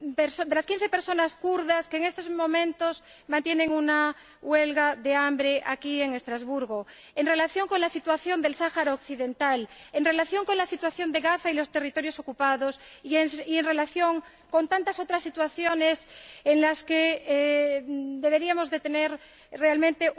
con las quince personas kurdas que en estos momentos mantienen una huelga de hambre aquí en Estrasburgo, en relación con la situación del Sáhara Occidental, en relación con la situación de Gaza y de los territorios ocupados y en relación con tantas otras situaciones en las que deberíamos sentir realmente